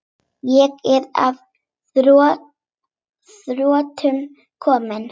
Ég er að þrotum kominn.